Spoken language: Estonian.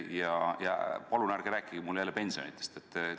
Ja palun ärge rääkige mulle jälle pensionidest!